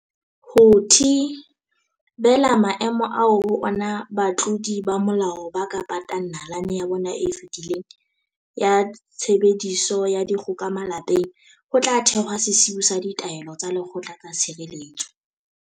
Ho thi-bela maemo ao ho ona batlodi ba molao ba ka patang nalane ya bona e fetileng ya tshebediso ya dikgoka malapeng, ho tla thehwa sesiu sa ditaelo tsa lekgotla tsa tshireletso.